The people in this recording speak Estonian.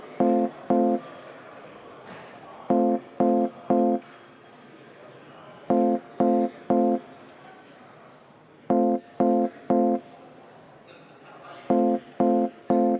Riigikogu ei avaldanud maaeluminister Mart Järvikule umbusaldust.